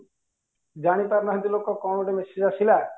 ଜାଣି ପାରୁନାହାନ୍ତି ଲୋକ କଣ ଗୋଟେ message ଆସିଲା